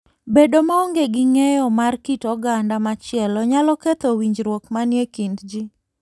Bedo maonge gi ng'eyo mar kit oganda machielo nyalo ketho winjruok manie kind ji.